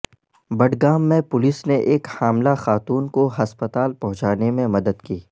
بڈگام میں پولیس نے ایک حاملہ خاتون کو ہسپتال پہنچانے میں مدد کی